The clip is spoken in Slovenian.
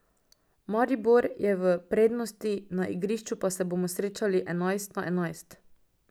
Maribor je v prednosti, na igrišču pa se bomo srečali enajst na enajst.